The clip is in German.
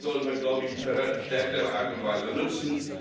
Das sollten wir, glaube ich, in verstärkter Art und Weise nutzen.